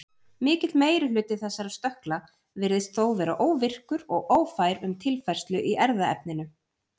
Mikill meiri hluti þessara stökkla virðist þó vera óvirkur og ófær um tilfærslu í erfðaefninu.